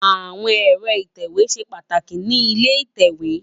Awón èrò itèwé ṣé pàtákí ni ilé itèwé